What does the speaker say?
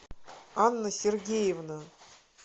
анна сергеевна